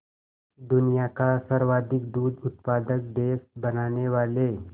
दुनिया का सर्वाधिक दूध उत्पादक देश बनाने वाले